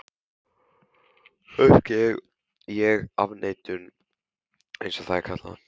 Kannski er ég í afneitun, einsog það er kallað.